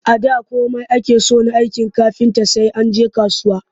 A da komai ake so na aikin kafinta sai an je kasuwa